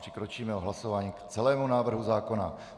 Přikročíme k hlasování o celém návrhu zákona.